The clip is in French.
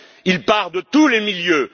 Il part de tous les milieux.